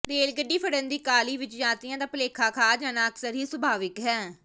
rail ਗੱਡੀ ਫੜਨ ਦੀ ਕਾਹਲੀ ਵਿਚ ਯਾਤਰੀਆਂ ਦਾ ਭੁਲੇਖਾ ਖਾ ਜਾਣਾ ਅਕਸਰ ਹੀ ਸੁਭਾਵਿਕ ਹੈ